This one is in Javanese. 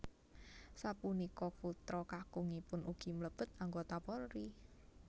Sapunika putra kakungipun ugi mlebet anggota Polri